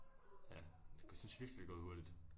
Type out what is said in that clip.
Ja jeg synes virkelig det er gået hurtigt